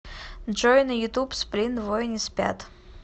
джой на ютуб сплин двое не спят